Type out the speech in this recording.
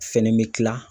Fɛn bɛ kila